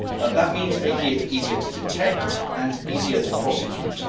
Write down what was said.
That means making it easier to detect and easier to prosecute.